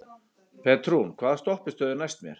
Petrún, hvaða stoppistöð er næst mér?